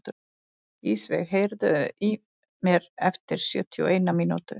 Ísveig, heyrðu í mér eftir sjötíu og eina mínútur.